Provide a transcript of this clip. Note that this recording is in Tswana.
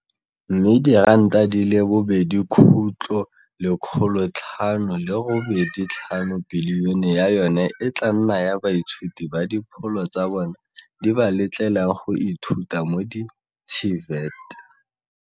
Mme R2.585 bilione ya yona e tla nna ya baithuti ba dipholo tsa bona di ba letlang go ithuta mo di-TVET.